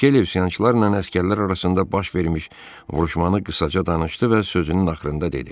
Mikele üsyançılarla əsgərlər arasında baş vermiş vuruşmanı qısaca danışdı və sözünün axırında dedi.